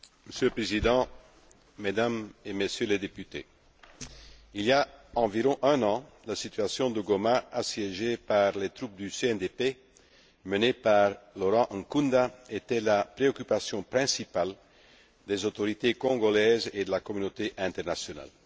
Monsieur le Président, Mesdames et Messieurs les députés, il y a environ un an, la situation de Goma, assiégée par les troupes du CNDP menées par Laurent Nkunda, était la préoccupation principale des autorités congolaises et de la communauté internationale.